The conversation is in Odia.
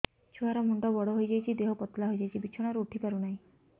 ଛୁଆ ର ମୁଣ୍ଡ ବଡ ହୋଇଯାଉଛି ଦେହ ପତଳା ହୋଇଯାଉଛି ବିଛଣାରୁ ଉଠି ପାରୁନାହିଁ